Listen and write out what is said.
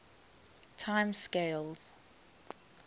time scales